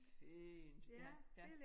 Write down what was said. Fint ja ja